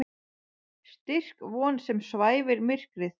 Styrk von sem svæfir myrkrið.